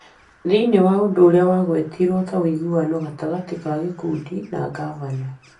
Thĩinĩ wa ũndũ ũrĩa wagwetirwo ta ũiguano gatagatĩ ka gĩkundi na ngavana.